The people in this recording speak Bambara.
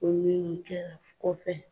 Weleli kɛra fo kɔfɛ.